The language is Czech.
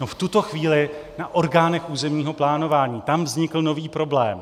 No v tuto chvíli na orgánech územního plánování, tam vznikl nový problém.